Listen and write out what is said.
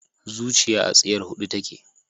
Zuciya a tsiyar huhu take